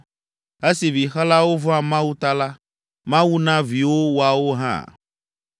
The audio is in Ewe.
Esi vixelawo vɔ̃a Mawu ta la, Mawu na viwo woawo hã.